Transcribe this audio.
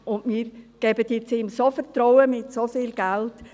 Doch wir schenken ihm nun so viel Vertrauen mit so viel Geld.